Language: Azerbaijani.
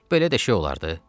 Belə də şey olardı?